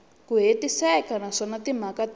ku hetiseka naswona timhaka ti